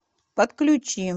подключи